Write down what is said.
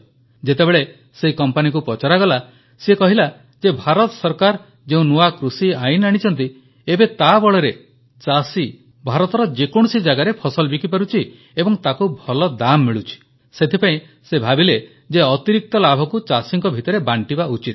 ଯେତେବେଳେ ସେହି କମ୍ପାନୀକୁ ପଚରାଗଲା ସେ କହିଲା ଯେ ଭାରତ ସରକାର ଯେଉଁ ନୂଆ କୃଷି ଆଇନ ଆଣିଛନ୍ତି ଏବେ ତା ବଳରେ ଚାଷୀ ଭାରତର ଯେକୌଣସି ଜାଗାରେ ଫସଲ ବିକିପାରୁଛି ଏବଂ ତାକୁ ଭଲ ଦାମ୍ ମିଳୁଛି ସେଥିପାଇଁ ସେ ଭାବିଲେ ଯେ ଅତିରିକ୍ତ ଲାଭକୁ ଚାଷୀଙ୍କ ଭିତରେ ବାଂଟିବା ଉଚିତ